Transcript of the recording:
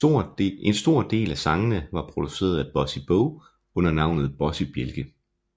En stor del af sangene var produceret af Bossy Bo under navnet Bossy Bjælke